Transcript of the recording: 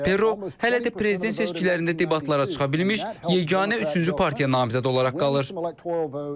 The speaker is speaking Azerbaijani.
Ros Perro hələ də prezident seçkilərində debatlara çıxa bilmiş yeganə üçüncü partiya namizədi olaraq qalır.